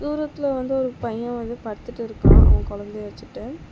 தூரத்தில் வந்து ஒரு பைய வந்து படுத்துட்டு இருக்கா அவ கொழந்தைய வச்சுட்டு.